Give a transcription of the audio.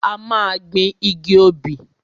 A máa gbin igi obì.